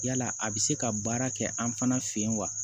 Yala a bɛ se ka baara kɛ an fana fɛ yen wa